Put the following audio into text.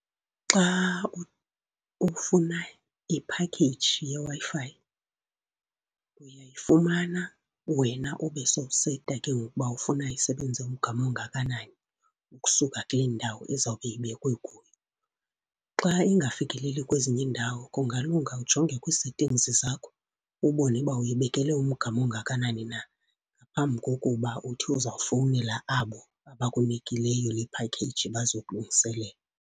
Xa ufuna i-package yeWi-Fi uyayifumana. Wena ube sowuseta ke ngoku uba ufuna isebenze umgama ongakanani, ukusuka kule ndawo izawube ibekwe kuyo. Xa ingafikeleli kwezinye iindawo, kungalunga ujonge kwii-settings zakho, ubone uba uyibekele umgama ongakanani na phambi kokuba uthi uzawufowunela abo abakunikileyo le phakheyiji bazokulungiselela.